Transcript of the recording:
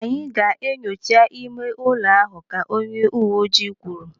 Anyị ga-enyocha ime ụlọ ahụ, ka onye uwe ojii kwuru.